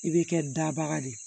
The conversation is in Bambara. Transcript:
I bɛ kɛ dabaga de ye